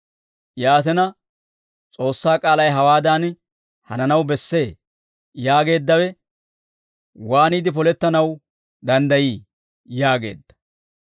Yaatina, S'oossaa k'aalay hawaadan hananaw bessee yaageeddawe waaniide polettanaw danddayii?» yaageedda.